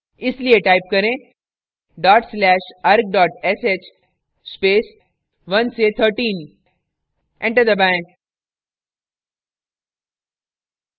इसलिए type करें dot slash arg sh space 1से 13 enter दबाएं